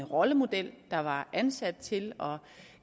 rollemodel der var ansat til